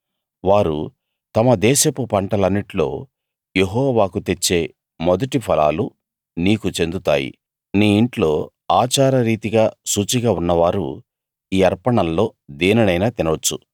వారు తమ దేశపు పంటలన్నిట్లో యెహోవాకు తెచ్చే మొదటి ఫలాలు నీకు చెందుతాయి నీ ఇంట్లో ఆచారరీతిగా శుచిగా ఉన్నవారు ఈ అర్పణల్లో దేనినైనా తినొచ్చు